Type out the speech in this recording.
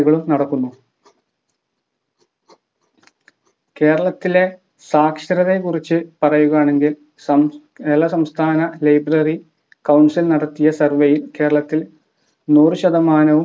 പരിപാടികളും നടക്കുന്നു കേരളത്തിലെ സാക്ഷരതയെ കുറിച് പറയുകയാണെങ്കിൽ സംസ്‌ കേരള സംസ്ഥാന library council നടത്തിയ survey യിൽ കേരളത്തിൽ നൂറു ശതമാനവും